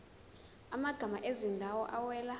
amagama ezindawo awela